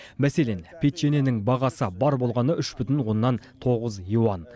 мәселен печеньенің бағасы бар болғаны үш бүтін оннан тоғыз юан